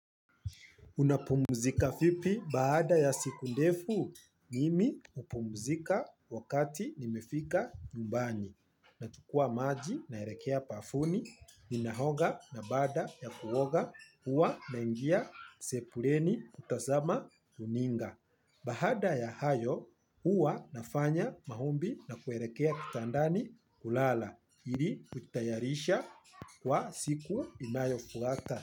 Unapumzika vipi baada ya siku ndefu, mimi hupumzika wakati nimefika nyumbani. Nachukua maji naelekea bafuni, ninaoga na baada ya kuoga, uwa nangia sebuleni kutazama runinga. Baada ya hayo, huwa nafanya maombi na kuelekea kitandani kulala, ili kutayarisha kwa siku inayofuata.